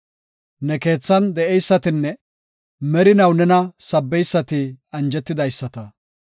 Ne keethan de7eysatinne merinaw nena sabbeysati anjetidaysata. Salaha